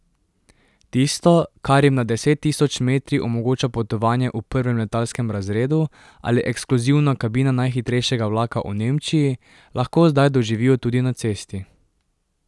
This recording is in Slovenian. Tisto, kar jim nad deset tisoč metri omogoča potovanje v prvem letalskem razredu ali ekskluzivna kabina najhitrejšega vlaka v Nemčiji, lahko zdaj doživijo tudi na cesti.